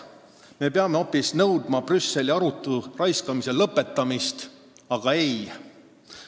Me peaksime nõudma hoopis arutu raiskamise lõpetamist Brüsselis, aga ei!